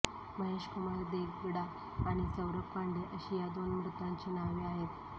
महेशकुमार देगडा आणि सौरभ पांडे अशी या दोन मृतांची नावे आहेत